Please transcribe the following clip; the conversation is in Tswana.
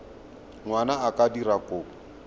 ngwana a ka dira kopo